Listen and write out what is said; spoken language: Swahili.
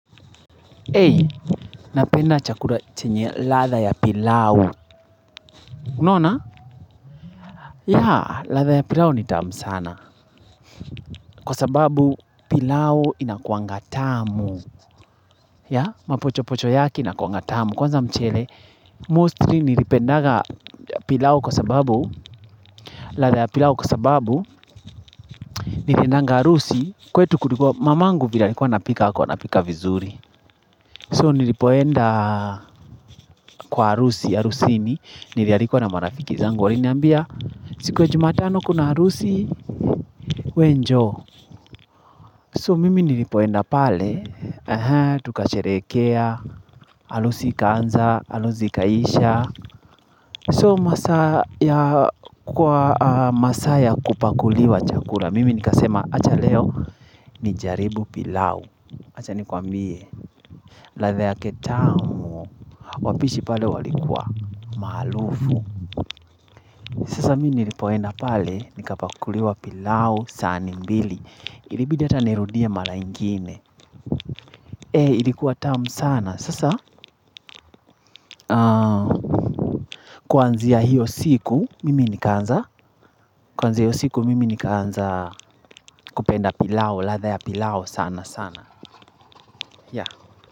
Ei, napenda chakura chenye ladha ya pilau. Nona? Ya, ladha ya pilau ni tamu sana. Kwa sababu pilau inakuanga tamu. Ya, mapochopocho yake inakuanga tamu. Kwanza mchele, mostly nilipendaga pilau kwa sababu, ladha ya pilau kwa sababu, niliendanga arusi. Kwetu kulikua mamangu vile alikuwa anapika, hakua anapika vizuri. So nilipoenda kwa arusi, arusini, nilialikwa na marafiki zangu waliniambia. Siku ya jumatano kuna arusi we njoo. So mimi nilipoenda pale Tukasherekea arusi ikanza arusi ikaisha. So masaa ya kwa masaa ya kupakuliwa chakula mimi nikasema acha leo nijaribu pilau Acha nikwambie ladha yake tamu Wapishi pale walikua malufu Sasa mimi nilipoenda pale nikapakuliwa pilau sahani mbili Ilibidi ata nirudia mala ingine E ilikuwa tamu sana Sasa Kwanzia hiyo siku mimi nikaanza Kwanzia ya hiyo siku mimi nikaanza kupenda pilao ladha ya pilao sana sana ya.